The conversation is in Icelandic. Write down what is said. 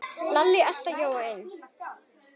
Lalli elti Jóa inn.